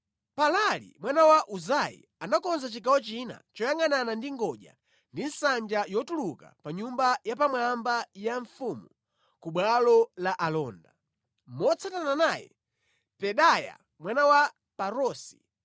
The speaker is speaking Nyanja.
Palali mwana Uzai anakonza chigawo china choyangʼanana ndi ngodya ndi nsanja yotuluka pa nyumba yapamwamba ya mfumu ku bwalo la alonda. Motsatana naye, Pedaya mwana wa Parosi,